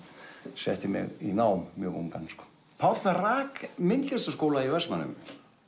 setti mig í nám mjög ungan sko Páll rak myndlistarskóla í Vestmannaeyjum